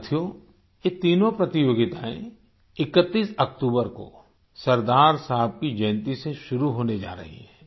साथियो ये तीनों प्रतियोगिताएं 31 अक्तूबर को सरदार साहब की जयंती से शुरू होने जा रही हैं